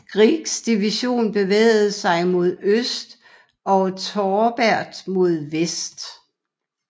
Greggs division bevægede sig mod øst og Torbert mod vest